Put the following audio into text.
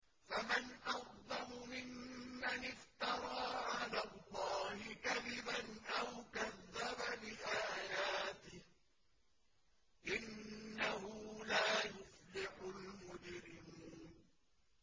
فَمَنْ أَظْلَمُ مِمَّنِ افْتَرَىٰ عَلَى اللَّهِ كَذِبًا أَوْ كَذَّبَ بِآيَاتِهِ ۚ إِنَّهُ لَا يُفْلِحُ الْمُجْرِمُونَ